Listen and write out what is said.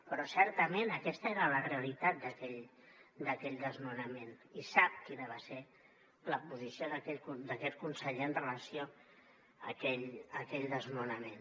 però certament aquesta era la realitat d’aquell desno nament i sap quina va ser la posició d’aquest conseller amb relació a aquell desnonament